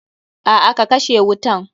A'a ka kashe wutan.